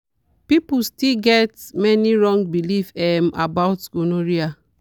people still get many wrong belief um about gonorrhea.